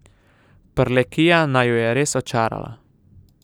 Prlekija naju je res očarala.